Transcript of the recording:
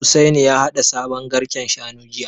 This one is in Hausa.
Hussaini ya haɗa sabon garken Shanu jiya